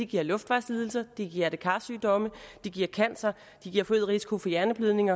giver luftvejslidelser giver hjerte kar sygdomme giver cancer giver forøget risiko for hjerneblødning